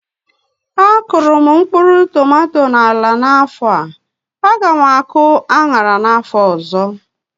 A kụrụ m mkpụrụ tomato na ala a n'afọ a, a gá m akụ aṅara n'afọ ọzọ